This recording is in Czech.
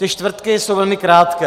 Ty čtvrtky jsou velmi krátké.